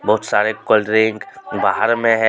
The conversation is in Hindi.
बहोत सारे कोल्ड ड्रिंक बाहर में है.